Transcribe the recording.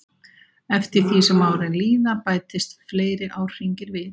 Eftir því sem árin líða bætast fleiri árhringir við.